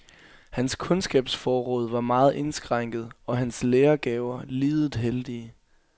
Hans kundskabsforråd var meget indskrænket og hans lærergaver lidet heldige.